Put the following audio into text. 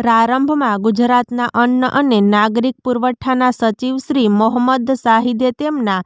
પ્રારંભમાં ગુજરાતના અન્ન અને નાગરિક પુરવઠાના સચિવશ્રી મોહમંદ શાહીદે તેમના